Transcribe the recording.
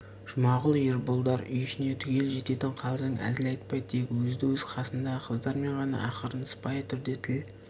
жұмағұл ерболдар үй ішіне түгел жететін қалжың әзіл айтпай тек өзді-өз қасындағы қыздармен ғана ақырын сыпайы түрде тіл